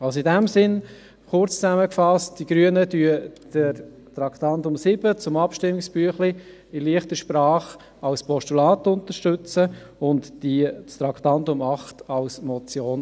In diesem Sinn, kurz zusammengefasst: Die Grünen unterstützen das Traktandum 7 zum Abstimmungsbüchlein in «leichter Sprache» als Postulat und das Traktandum 8 als Motion.